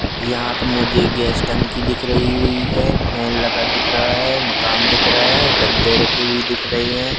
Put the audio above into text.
यहां पे मुझे गैस टंकी दिख रही हुई है फैन लगा दिख रहा है मकान दिख रहा है गद्दे रखी हुई दिख रही है।